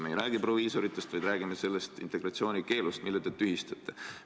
Me ei räägi proviisoritest, vaid räägime integratsiooni keelust, mille te tühistate.